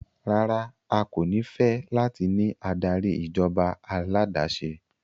Rara, a ko ni fẹ lati ni adari ijọba aládàáṣe